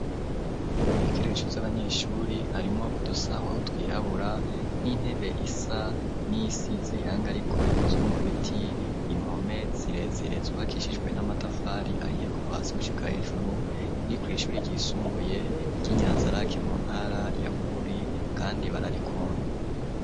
Ibikoresho vy'abanyeshuri harimo udusaho twihabura n'intebe isa niyisize irangi ariko ikozwe mu biti impome zirezire zubakishijwe n'amatafari ahiye kuva hasi gushika hejuru, iri ku ishuri ryisumbuye ry'I nyanzaraki mu ntara ya Bururi kandi bararikunda.